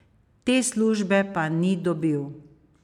Te službe pa ni dobil.